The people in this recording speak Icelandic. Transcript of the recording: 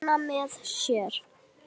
Vona með sér.